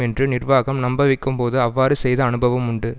என்று நிர்வாகம் நம்பவைக்கும்போது அவ்வாறு செய்த அனுபவம் உண்டு